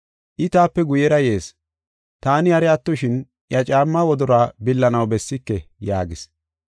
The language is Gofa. I taape guyera yees. Taani hari attoshin iya caammaa wodoruwa billanaw bessike” yaagis.